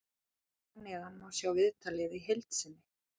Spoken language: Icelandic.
Hér að neðan má sjá viðtalið í heild sinni.